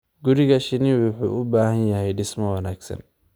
Guriga shinni wuxuu u baahan yahay dhismo wanaagsan.